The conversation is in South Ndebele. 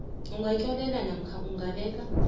ungatlolela namkha ungabeka